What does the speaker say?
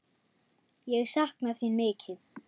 Ég sakna þín mikið.